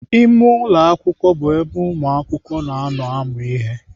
Ime ụlọ akwụkwọ bụ ebe ụmụakwụkwọ na-anọ amụ ihe.